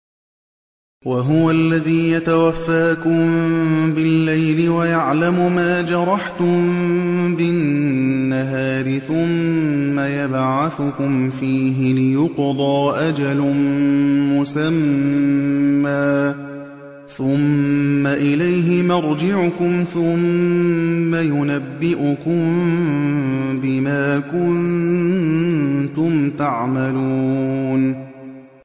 وَهُوَ الَّذِي يَتَوَفَّاكُم بِاللَّيْلِ وَيَعْلَمُ مَا جَرَحْتُم بِالنَّهَارِ ثُمَّ يَبْعَثُكُمْ فِيهِ لِيُقْضَىٰ أَجَلٌ مُّسَمًّى ۖ ثُمَّ إِلَيْهِ مَرْجِعُكُمْ ثُمَّ يُنَبِّئُكُم بِمَا كُنتُمْ تَعْمَلُونَ